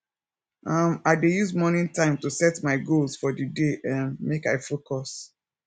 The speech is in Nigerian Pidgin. um i dey use morning time to set my goals for di day um make i focus